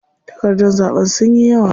Takardar zaɓen sunyi yawa.